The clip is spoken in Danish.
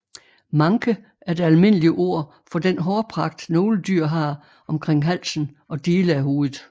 Manke er det almindelige ord fo den hårpragt nogle dyr har omkring halsen og dele af hovedet